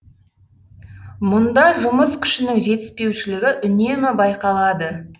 мұнда жұмыс күшінің жетіспеушілігі үнемі байқалады